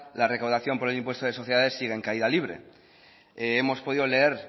la recaudación por el impuesto de sociedades sigue en caída libre hemos podido leer